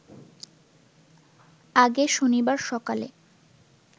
আগে শনিবার সকালে